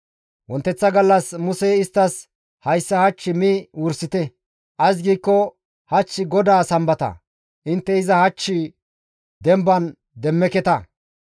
Wonteththa gallas Musey isttas, «Hayssa hach mi wursite; ays giikko hach GODAA Sambata; intte iza hach demban demmeketa.